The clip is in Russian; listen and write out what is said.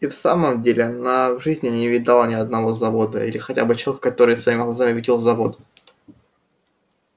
и в самом деле она в жизни не видала ни одного завода или хотя бы человека который бы своими глазами видел завод